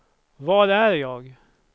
var är jag